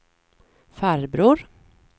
farbror